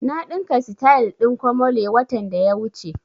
Na ɗinka sityl ɗin komole watan da ya wuce